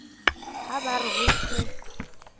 ha ba re ho se